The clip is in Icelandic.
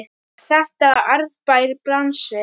Er þetta arðbær bransi?